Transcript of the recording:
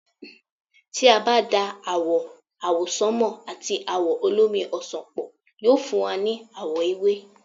tí a bá da àwò̩ àwọsánmà àti àwò̩ olómi ọsàn pọ̀, yóò fún wa ní àwọ̀ ewé